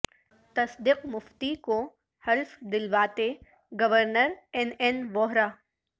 تصدق مفتی کو حلف دلواتے گورنر این این ووہرا